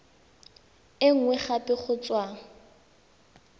e nngwe gape go tswa